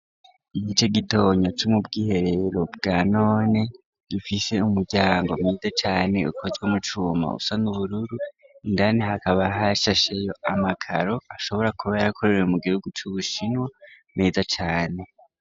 Igice gitonya co mu bw'ihereero bwa none gifise umuryango meza cane ukozwe mu cuma usa n'ubururu indani hakaba hashasheyo amagaro ashobora kuba yarakorerewe mu gihugu c'ubushinwa meza cane.